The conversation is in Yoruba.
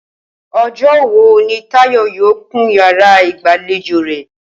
O̩jó̩ wo ni Táyò̩ yóò kun yàrá ìgbàlejò rè̩?